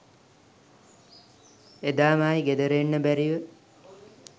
එදාම ආයි ගෙදර එන්න බැරිව